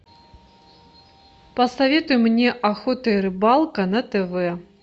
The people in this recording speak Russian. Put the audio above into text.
посоветуй мне охота и рыбалка на тв